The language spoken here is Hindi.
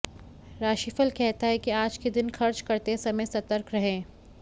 राशिफल कहता है कि आज के दिन खर्च करते समय सतर्क रहें